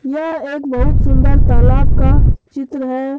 यह एक बहुत सुंदर तालाब का चित्र है।